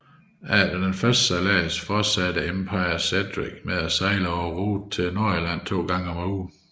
Efter den første sejlads fortsatte Empire Cedric med at sejle på ruten til Nordirland to gange om ugen